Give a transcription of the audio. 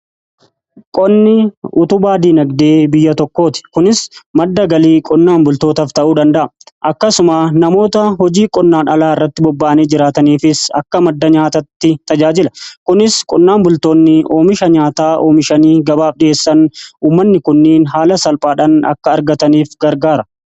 Qonni utubaa diinagdee biyya tokkooti. kunis madda galii qonnaan bultootaaf ta'uu danda'a. Akkasuma namoota hojii qonnaan alaa irratti bobba'anii jiraataniifis akka madda nyaataatti tajaajila. Kunis qonnaan bultoonni oomisha nyaataa oomishanii gabaaf dhi'eessan uumanni kunniin haala salphaadhaan akka argataniif gargaara.